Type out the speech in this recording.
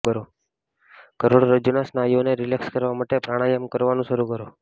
કરોડરજ્જુના સ્નાયુઓને રિલેક્સ કરવા માટે પ્રાણાયામ કરવાનું શરૂ કરો